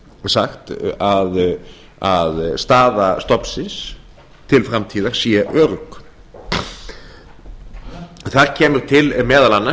sagt að staða stofnsins til framtíðar sé örugg þar kemur til meðal annars